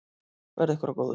Verði ykkur að góðu.